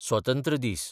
स्वतंत्र दीस